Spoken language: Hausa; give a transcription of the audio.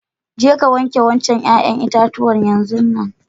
Je ka wanke wancan yayan itatuwa yanzun nan.